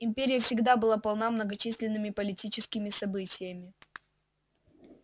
империя всегда была полна многочисленными политическими событиями